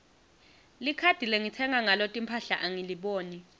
likhadi lengitsenga ngalo timphahla angiliboni